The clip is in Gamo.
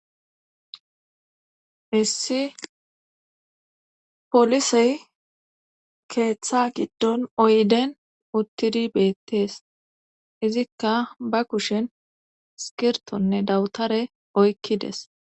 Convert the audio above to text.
Issi polisey keeththa giddon oyden uttidi beettees izikka ba kushen skirtonne dawutare oykkides.